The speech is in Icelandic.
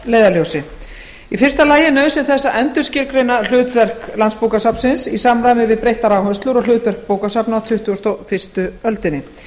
leiðarljósi fyrstu nauðsyn þess að endurskilgreina hlutverk landsbókasafnsins í samræmi við breyttar áherslur og hlutverk bókasafna á tuttugustu og fyrstu öldinni